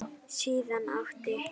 Síðan átti